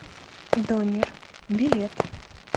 донер билет